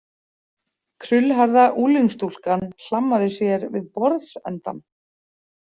Krullhærða unglingsstúlkan hlammaði sér við borðsendann.